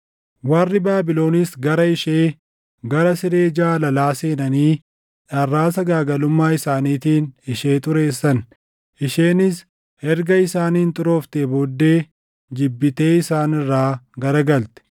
Warri Baabilonis gara ishee, gara siree jaalalaa seenanii dharraa sagaagalummaa isaaniitiin ishee xureessan. Isheenis erga isaaniin xurooftee booddee jibbitee isaan irraa garagalte.